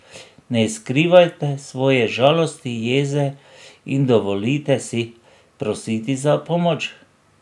Ne skrivajte svoje žalosti, jeze in dovolite si prositi za pomoč.